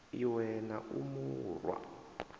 lwe na u mu rwa